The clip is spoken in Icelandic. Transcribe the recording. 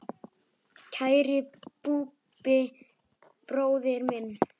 Kæri Búddi bróðir minn.